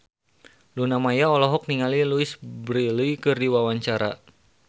Luna Maya olohok ningali Louise Brealey keur diwawancara